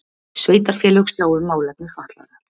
Sveitarfélög sjá um málefni fatlaðra